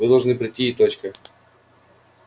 вы должны прийти и точка